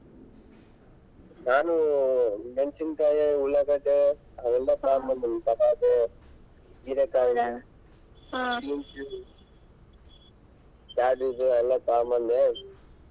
ನಾನು ಮೆಣ್ಸಿನ್ಕಾಯಿ ಉಳ್ಳಗಡ್ಡಿ ಅವೆಲ್ಲಾ ತೊಗೊಂಡ್ ಬಂದೀನಿ ಟೊಮೆಟೆ ಹೀರೆಕಾಯಿ beans ಎಲ್ಲಾ ತೊಗೊಂಡ ಬಂದೆ.